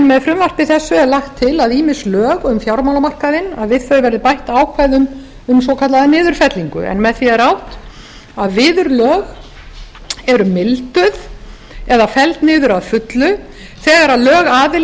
með frumvarpi þessu er lagt til að við ýmis lög um fjármálamarkaðinn verði bætt ákvæðum um svokallaða niðurfellingu en með því er átt við að viðurlög eru milduð eða felld niður að fullu þegar lögaðili